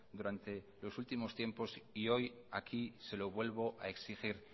durante los últimos tiempos y hoy aquí se lo vuelvo a exigir